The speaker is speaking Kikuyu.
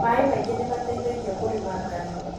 Maaĩ maingĩ nĩ mateithagia kũrĩma ngano